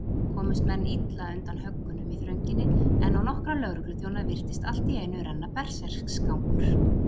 Komust menn illa undan höggunum í þrönginni, en á nokkra lögregluþjóna virtist alltíeinu renna berserksgangur.